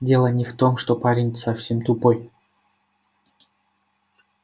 дело не в том что парень совсем тупой